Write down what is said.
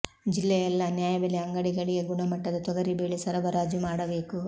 ಜಿಲ್ಲೆಯ ಎಲ್ಲಾ ನ್ಯಾಯಬೆಲೆ ಅಂಗಡಿಗಳಿಗೆ ಗುಣಮಟ್ಟದ ತೊಗರಿ ಬೇಳೆ ಸರಬರಾಜು ಮಾಡಬೇಕು